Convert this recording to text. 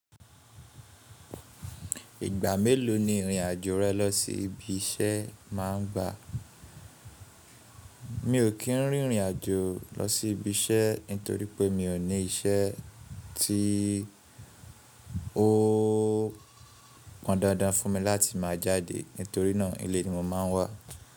Ìgbà mélòó ni ìrìn àjò rẹ lọ sí ibi iṣẹ́ má ń gba? Mi ò kí n rìn rìnàjò lọ sí ibiṣẹ́ ni torí pé mi ò ní iṣẹ́ tíì ó pọn dandan fún mi láti máa jáde nítorí ná ilé ni mo máa ń wà.